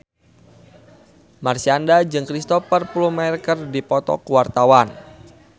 Marshanda jeung Cristhoper Plumer keur dipoto ku wartawan